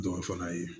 Dɔw fana ye